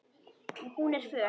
Og hún er föl.